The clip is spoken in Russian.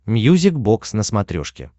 мьюзик бокс на смотрешке